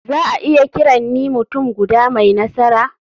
Za a iya kiran ni mutum guda mai nasara?